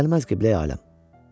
Gəlməz Qibləyi aləm.